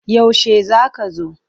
Yaushe za ka zo?